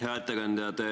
Hea ettekandja!